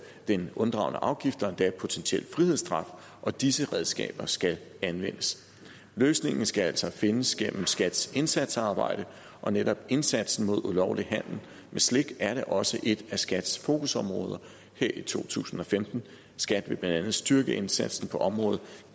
den unddragne afgift og endda potentiel frihedsstraf og disse redskaber skal anvendes løsningen skal altså findes gennem skats indsatsarbejde og netop indsatsen mod ulovlig handel med slik er da også et af skats fokusområder her i to tusind og femten skat vil blandt andet styrke indsatsen på området